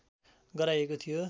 गराएको थियो